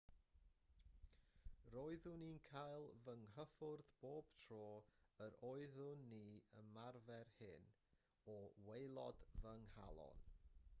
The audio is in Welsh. roeddwn i'n cael fy nghyffwrdd bob tro yr oedden ni'n ymarfer hyn o waelod fy nghalon